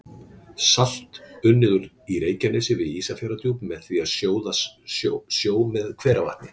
Salt unnið í Reykjanesi við Ísafjarðardjúp með því að sjóða sjó með hveravatni.